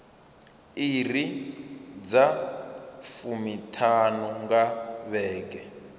iri dza fumiṱhanu nga vhege